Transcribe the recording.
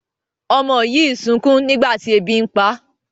ọmọ yi sunkún nígbàtí ẹbi npá